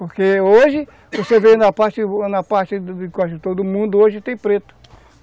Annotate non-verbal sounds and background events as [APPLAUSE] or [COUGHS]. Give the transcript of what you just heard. Porque hoje, [COUGHS] você vê na parte na parte de quase todo mundo, hoje tem preto.